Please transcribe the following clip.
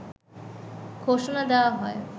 ঘোষণা দেয়া হয়